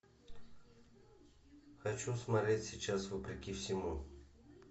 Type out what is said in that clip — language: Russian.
хочу смотреть сейчас вопреки всему